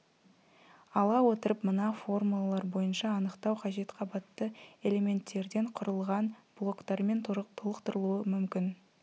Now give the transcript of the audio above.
ала отырып мына формулалар бойынша анықтау қажет қабатты элементтерден құрылған блоктармен толықтырылуы мүмкін